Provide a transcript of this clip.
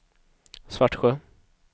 Svartsjö